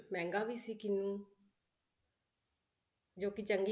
ਮਹਿੰਗਾ ਵੀ ਸੀ ਕਿਨੂੰ ਜੋ ਕਿ ਚੰਗੀ